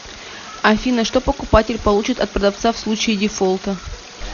афина что покупатель получит от продавца в случае дефолта